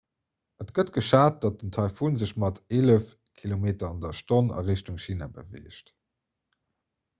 et gëtt geschat datt den taifun sech mat eelef km/h a richtung china beweegt